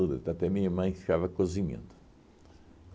Até minha mãe ficava cozinhando.